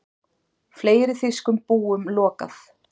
Fleiri þýskum búum lokað